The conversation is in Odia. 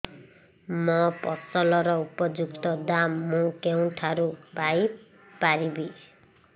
ମୋ ଫସଲର ଉପଯୁକ୍ତ ଦାମ୍ ମୁଁ କେଉଁଠାରୁ ପାଇ ପାରିବି